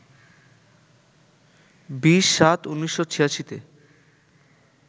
২০-৭-১৯৮৬-তে